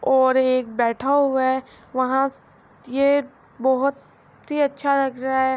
ہوا اور ایک بیٹھا ہوا ہے وہا بہت ہی اچھا لگ رہا ہے